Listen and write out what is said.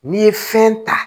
N'i ye fɛn ta